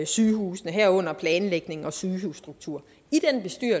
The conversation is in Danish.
sygehusene herunder planlægningen og sygehusstruktur